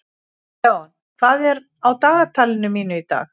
Leon, hvað er á dagatalinu mínu í dag?